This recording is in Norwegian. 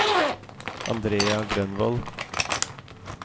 Andrea Grønvold